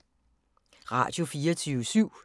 Radio24syv